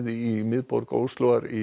í miðborg Óslóar í